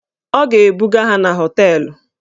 Ọ ga-ebuga ha na họteelụ.